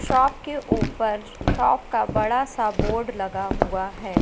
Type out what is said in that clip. Shop के ऊपर shop का बड़ा सा बोर्ड लगा हुआ है।